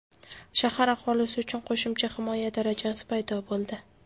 Shahar aholisi uchun qo‘shimcha himoya darajasi paydo bo‘ldi.